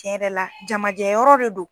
Cɛn yɛrɛ la jamajɛ yɔrɔ de do.